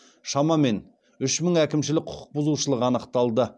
шамамен үш мың әкімшілік құқық бұзушылық анықталды